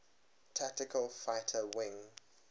tactical fighter wing